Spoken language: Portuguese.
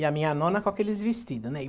E a minha nona com aqueles vestidos, né?